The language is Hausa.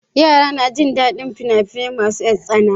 Yara suna jin daɗin fina-finai masu tsana.